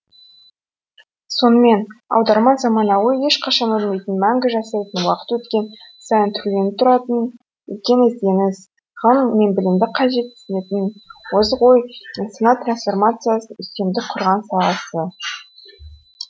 сонымен аударма заманауи ешқашан өлмейтін мәңгі жасайтын уақыт өткен сайын түрленіп тұратын үлкен ізденіс ғылым мен білімді қажетсінетін озық ой мен сана трансформациясының үстемдік құрған саласы